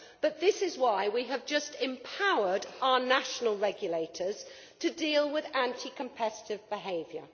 But this is why we have just empowered our national regulators to deal with anti competitive behaviour.